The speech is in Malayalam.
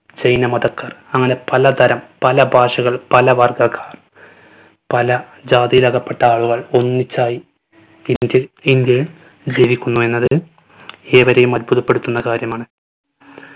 ജൈന മതക്കാർ അങ്ങന പല തരം പല ഭാഷകൾ പല വർഗക്കാർ. പല ജാതിയിലകപ്പെട്ട ആളുകൾ ഒന്നിച്ചായി ഇന്ത്യയിൽ ജനിക്കുന്നു എന്നത് ഏവരെയും അത്ഭുതപ്പെടുത്തുന്ന കാര്യമാണ്.